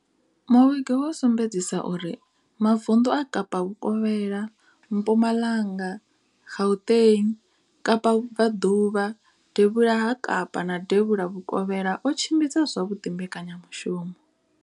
Muvhigo wo sumbedzisa uri mavundu a Kapa Vhukovhela, Mpumalanga, Gauteng, Kapa Vhubva ḓuvha, Devhula ha Kapa na Devhula Vhukovhela o tshimbidza zwavhuḓi mbekanya mushumo.